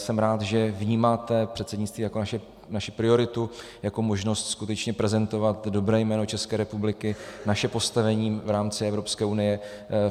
Jsem rád, že vnímáte předsednictví jako naši prioritu, jako možnost skutečně prezentovat dobré jméno České republiky, naše postavení v rámci Evropské unie.